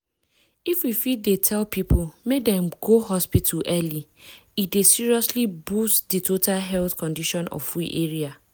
if we fit dey tell people make dem go hospital early e dey seriously boost di total health condition of we area.